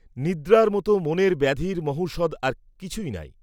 নিদ্রার মত মনের ব্যাধির মহৌষধ আর কিছুই নাই।